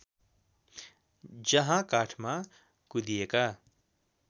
जहाँ काठमा कुँदिएका